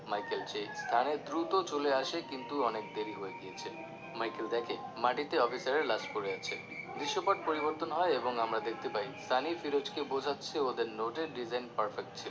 Michael সেই স্থানে দ্রুত চলে আসে কিন্তু অনেক দেরী হয়ে গিয়েছে Michael দেখে মাটিতে অফিসারের লাশ পড়ে আছে দৃশ্যপট পরিবর্তন হয় এবং আমরা দেখতে পাই সানি ফিরোজকে বোঝাচ্ছে ওদের নোটের design ছিলো